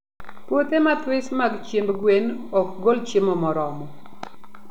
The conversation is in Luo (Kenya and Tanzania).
Puothe mathis mag chiemb gwen ok gol chiemo moromo